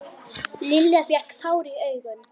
Lilla fékk tár í augun.